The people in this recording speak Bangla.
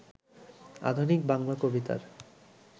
আধুনিক বাংলা কবিতার